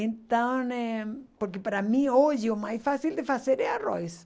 Então né porque para mim hoje o mais fácil de fazer é arroz.